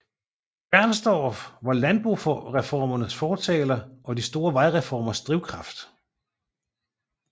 Bernstorff var landboreformernes fortaler og de store vejreformers drivkraft